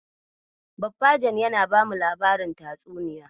Bafajen yana bamu labarin tatsuniya.